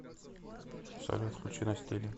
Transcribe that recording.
салют включи на стиле